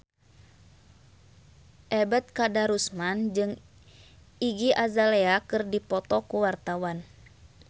Ebet Kadarusman jeung Iggy Azalea keur dipoto ku wartawan